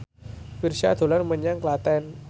Virzha dolan menyang Klaten